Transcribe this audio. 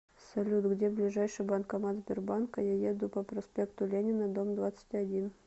салют где ближайший банкомат сбербанка я еду по проспекту ленина дом двадцать один